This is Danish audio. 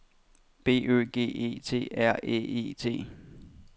B Ø G E T R Æ E T